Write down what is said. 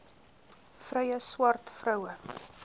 vrye swart vroue